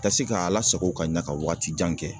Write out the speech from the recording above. Ka se k'a lasago ka ɲa ka wagati jan kɛ.